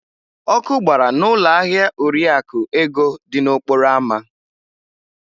Ọkụ gbara n'ụlọ ahịa Oriakụ Ego dị n'okporo ámá.